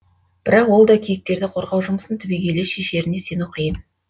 бірақ ол да киіктерді қорғау жұмысын түбегейлі шешеріне сену қиын